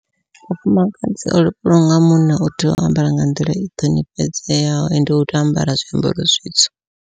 Mufumakadzi o lovhelwaho nga munna u tea u ambara nga nḓila i ṱhonifhedzeaho ende u tea u ambara zwiambaro zwitsu.